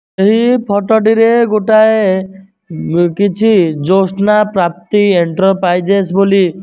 ଏହି ଫୋଟୋ ଟିରେ ଗୋଟାଏ ଅ କିଛି ଜ୍ୟୋତ୍ସ୍ନା ପ୍ରାପ୍ତି ଏଣ୍ଟର ପ୍ରାଇଜେଶ୍ ବୋଲି।